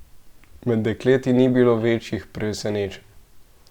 Med dekleti ni bilo večjih presenečenj.